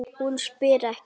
Hún spyr ekki.